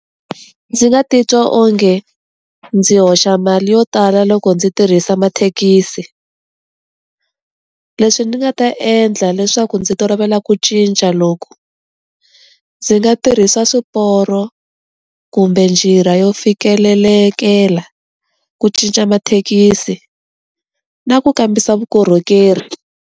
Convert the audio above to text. Ndzi nga ti twa onge, ndzi hoxa mali yo tala loko ndzi tirhisa mathekisi. Leswi ni nga ta endla leswaku ndzi tolovela ku cinca loku, ndzi nga tirhisa swiporo, kumbe njira yo fikelelekela, ku cinca mathekisi, na ku kambisa vukorhokeri.